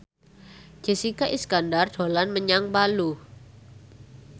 Jessica Iskandar dolan menyang Palu